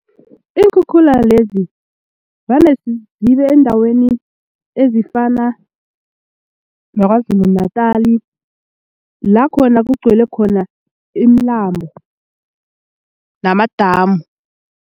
Iinkhukhula lezi vane zibe eendaweni ezifana naKwaZulu Natal la khona kugcwele khona imilambo namadamu.